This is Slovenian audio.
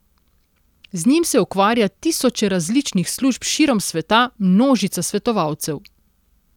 Z njim se ukvarja tisoče različnih služb širom sveta, množica svetovalcev.